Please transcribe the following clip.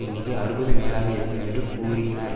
எண்ணிக்கை அறுபது மேலாக இருக்கும் என்று கூறினர்